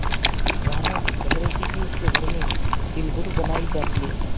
जानू कह रही थी कि उसके घर में तिलगुड़ बनायी जाती है